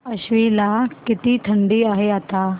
आश्वी ला किती थंडी आहे आता